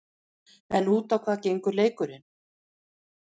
En út á hvað gengur leikurinn?